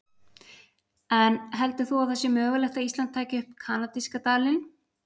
En heldur þú að það sé mögulegt að Ísland taki upp kanadíska dalinn?